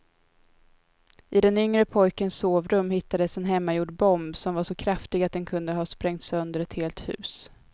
I den yngre pojkens sovrum hittades en hemmagjord bomb som var så kraftig att den kunde ha sprängt sönder ett helt hus.